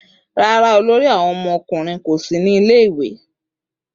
Rara, ọmọkunrin ori ko si ni ile-iwe